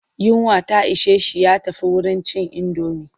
Yunwa ta ishe shi ya tafi wurin cin indomi.